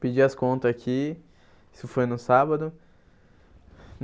Pedi as contas aqui, isso foi no sábado.